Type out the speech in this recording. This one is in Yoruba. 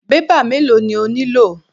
Bébà mélòó ni o nílò?